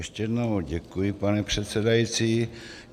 Ještě jednou děkuji, pane předsedající.